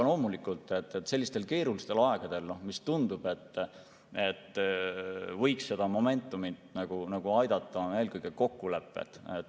Loomulikult, sellistel keerulistel aegadel tundub, et momentumil võiks aidata eelkõige kokkulepped.